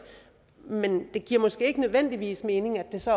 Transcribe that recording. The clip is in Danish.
men det giver måske ikke nødvendigvis mening at det så